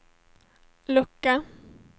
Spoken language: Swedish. lucka